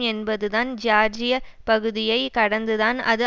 என்பதுதான் ஜியார்ஜிய பகுதியை கடந்துதான் அது